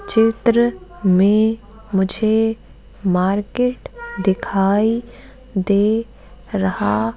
चित्र में मुझे मार्केट दिखाई दे रहा--